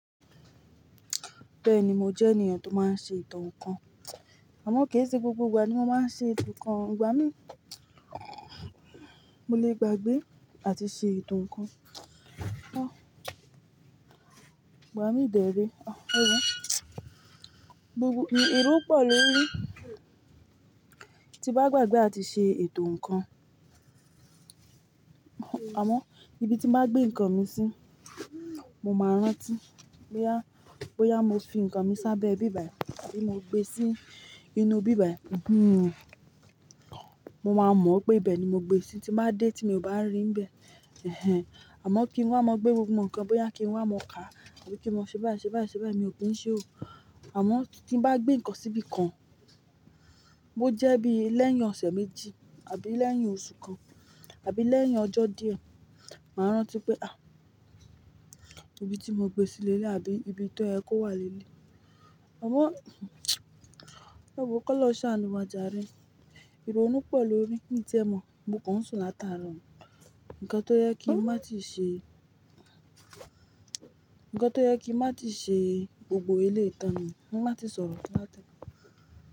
Bẹ́ẹ̀ni, mo jẹ́ ènìyàn tó máa ń ṣe eto n kan. Àmọ́ kì í ṣe gbogbo ìgbà ni mo máa ń ṣe eto nkan o. Ìgbà mí, mo lè gbàgbé àti ṣe ètò nǹkan. Ìgbà mí dèré, gbogbo, irú pẹ̀lú rí. Tí bá gbàgbé àti ṣe ètò nǹkan, àmọ́ ibi tí n bá gbé nǹkan mi sí, mo máa rántí. Bóyá, bóyá mo fi nǹkan mi sábẹ́ ibí bàyi àbí mo gbé sí inú ibí bàyi. Mo máa mọ̀ pé ibẹ ni mo gbé e sí, tí bá dé tí mo bá rí n bẹ. Ẹ̀hẹn. Àmọ́ kí n wá, máa gbé gbogbo nǹkan, bóyá kí n wá mọ kà àbí kí n máa ṣe báyìí ṣe báyìí ṣe báyìí, mi ò kí ń ṣe ò. Àmọ́ tí n bá gbé nǹkan sí ibi kan, bó jẹ́ bí lẹ́yìn ọ̀sẹ̀ méjì àbí lẹ́yìn oṣù kan àbí lẹ́yìn ọjọ́ díẹ̀, màá rántí pé à, ibi tí mo gbé sí leleyi àbí ibi tó yẹ kó wà leleyi. Àmọ́, ẹ wo kọlọhun saànu wa jare. Ìrònú pọ lorí mí tiẹ́ mọ̀, mo kàn n sùn láti aarọ ni. Ǹkan tó jẹ kí n má tíì ṣe, ǹnkan tó jẹ kí n má tíì ṣe gbogbo eleyi tàn nu un, kí n má tíì sọ̀rọ̀ láti ẹẹkan.